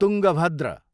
Tungabhadra